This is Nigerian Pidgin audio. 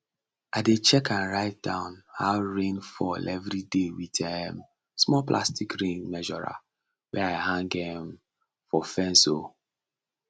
i dey check and write down how rain fall everyday with um small plastic rain measurer wey i hang um for fence um